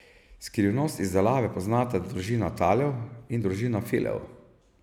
Skrivnost izdelave poznata družina Talev in družina Filev.